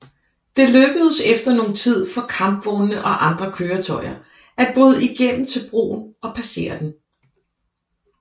Det lykkedes efter nogen tid for kampvognene og andre køretøjer at bryde igennem til broen og passere den